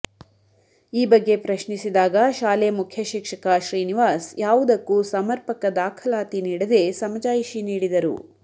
ಈ ಬಗ್ಗೆ ಪ್ರಶ್ನಿಸಿದಾಗ ಶಾಲೆ ಮುಖ್ಯಶಿಕ್ಷಕ ಶ್ರೀನಿವಾಸ್ ಯಾವುದಕ್ಕೂ ಸಮರ್ಪಕ ದಾಖಲಾತಿ ನೀಡದೇ ಸಮಜಾಯಿಷಿ ನೀಡಿದರು